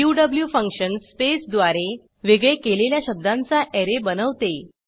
Q function स्पेसद्वारे वेगळे केलेल्या शब्दांचा ऍरे बनवते